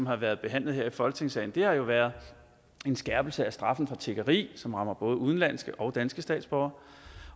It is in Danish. har været her i folketingssalen har jo været en skærpelse af straffen for tiggeri som rammer både udenlandske og danske statsborgere